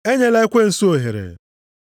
Enyela ekwensu ohere.